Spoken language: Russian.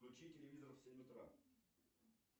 включи телевизор в семь утра